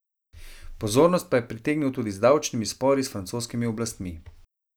Pozornost pa je pritegnil tudi z davčnimi spori s francoskimi oblastmi.